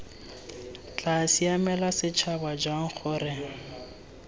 tla siamela setšhaba jang gore